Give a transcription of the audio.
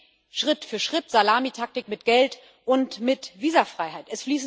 Und das geht Schritt für Schritt Salamitaktik mit Geld und mit Visafreiheit.